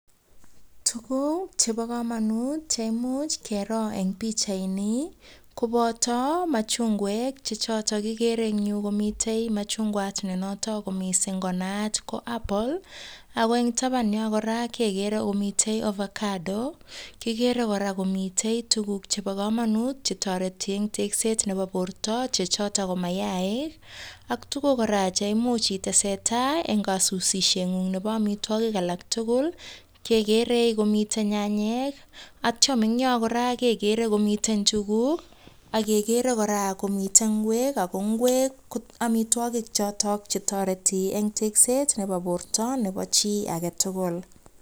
Tuguk chebo komanut cheimuch kero eng pichaini, koboto matundek che chotok kekere eng yu komitei machugwat ne nitok konaat mising ko apple, ako eng taban yo kora, kekere komitei ovacado, kikere kora mitei tukuk chebo komanut chetoreti eng tekset nebo birta che chotok, ko maaik ak tukuk kora che imuch itese tai eng kasusihet ng'ung nebo amitwagik alak tugul. Kekere komitei byanyek, atio en yo kora kekere komitei njuguk, ak kekere kora komitei ingwek, ako ingwek ko amitwagik chotok che toreti eng tekset nebo borta nebo chi age tugul.